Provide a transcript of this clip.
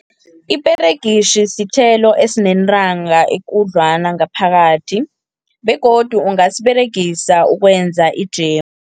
Iperegitjhi sithelo esinentanga ekudlwana ngaphakathi, begodu ungasiberegisa ukwenza ijemu.